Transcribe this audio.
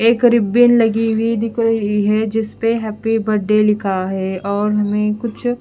एक रिब्बिन लगी हुई दिख रही है जिसपे हैप्पी बर्थडे लिख है और भी कुछ --